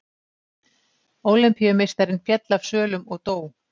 Ólympíumeistarinn féll af svölum og dó